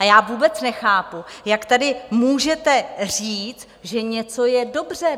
A já vůbec nechápu, jak tady můžete říct, že něco je dobře?